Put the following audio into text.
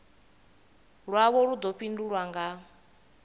lwavho lu ḓo fhindulwa nga